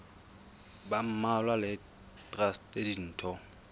ba mmalwa le traste ditho